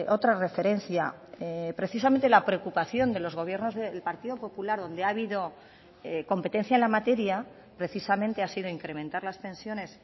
otra referencia precisamente la preocupación de los gobiernos del partido popular donde ha habido competencia en la materia precisamente ha sido incrementar las pensiones